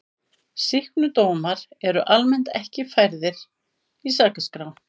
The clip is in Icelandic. Sýknudómar eru almennt ekki færðir í sakaskrá.